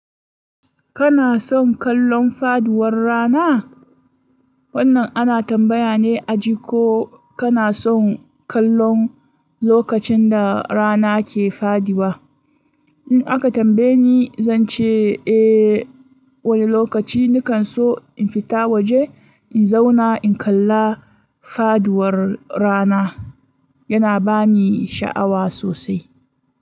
Kana son kallon faduwar rana? Wannan ana tambaya ne a ji ko kana son kallon lokacin da rana ke fadi ba. In aka tambaye ni, zan ce eh wani lokaci ni kan so in fita waje in zauna in kalla faduwar rana. Yana ba ni sha'awa sosai.